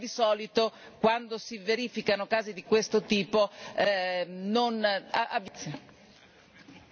Mi auguro di sbagliarmi, ma di solito quando si verificano casi di questo tipo avviene proprio quello che ho detto.